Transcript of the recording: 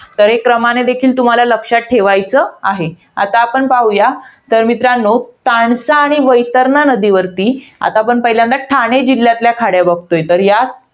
तरी, क्रमाने तुम्हाला लक्षात ठेवायचं आहे. आता आपण मित्रांनो पाहूया. तानसा आणि वैतरणा नदीवरती, आता आधी आपण ठाणे जिल्ह्यातल्या खाड्या बघतोय. तर या